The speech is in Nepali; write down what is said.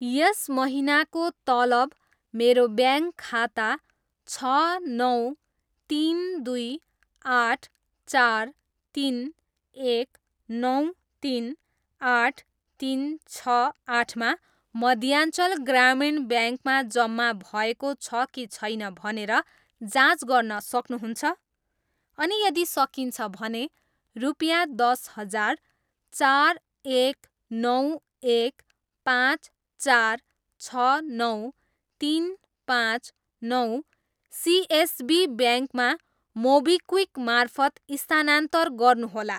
यस महिनाको तलब मेरो ब्याङ्क खाता छ नौ, तिन, दुई, आठ, चार, तिन, एक, नौ, तिन, आठ, तिन, छ, आठमा मध्याञ्चल ग्रामीण ब्याङ्कमा जम्मा भएको छ कि छैन भनेर जाँच गर्न सक्नुहुन्छ?, अनि यदि सकिन्छ भने, रुपिँया दस हजार चार, एक, नौ, एक, पाँच, चार, छ, नौ, तिन, पाँच, नौ, सिएसबी ब्याङ्कमा मोबिक्विक मार्फत स्थानान्तर गर्नुहोला।